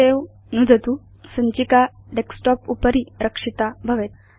सवे नुदतु सञ्चिका डेस्कटॉप उपरि रक्षिता भवेत्